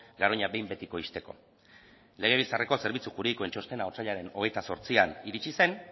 garoña behin betiko ixteko legebiltzarreko zerbitzu juridikoen txostena otsailaren hogeita zortzian iritzi zen